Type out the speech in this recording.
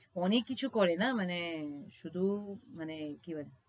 অনেক কিছু করে না মানে শুধু মানে কি আর কি